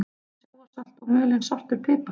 Sjávarsalt og mulinn svartur pipar